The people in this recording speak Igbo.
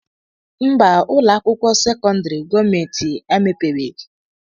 Mba, ụlọ akwụkwọ sekọndịrị gọọmenti emepebeghị